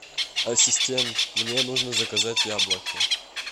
ассистент мне нужно заказать яблоки